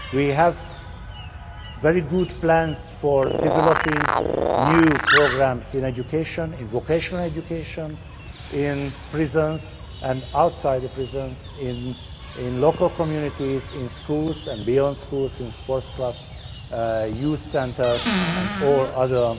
We have very good plans for developing new programmes in education, in vocational education, in prisons and outside the prisons, in local communities, in schools and beyond schools, in sports clubs, youth centres and all other